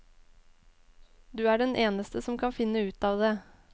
Du er den eneste som kan finne ut av det.